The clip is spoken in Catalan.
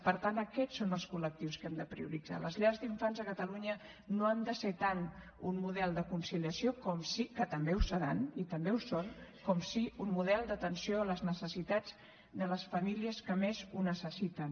per tant aquests són els col·lectius que hem de prioritzar les llars d’infants a catalunya no han de ser tant un model de conciliació com sí que també ho seran i també ho són un model d’atenció a les necessitats de les famílies que més ho necessiten